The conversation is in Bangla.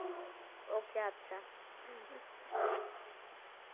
Okay আচ্ছা।